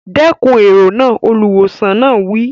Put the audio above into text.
Dẹ́kun èrò náà! Olùwòsàn náà wí.